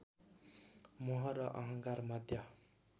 मोह र अहंकार मध्य